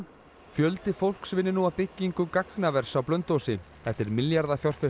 fjöldi fólks vinnur nú að byggingu gagnavers á Blönduósi þetta er